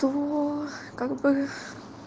то как бы